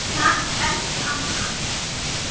Takk, elsku amma.